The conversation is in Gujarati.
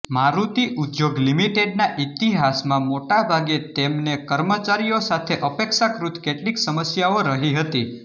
મારુતિ ઉદ્યોગ લિમિટેડના ઇતિહાસમાં મોટાભાગે તેમને કર્મચારીઓ સાથે અપેક્ષાકૃત કેટલીક સમસ્યાઓ રહી હતી